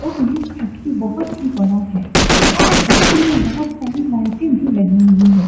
और ये फैक्ट्री बहुत ही बड़ा है इस फैक्ट्री में बहुत सारी लाइटें भी लगी हुई हैं।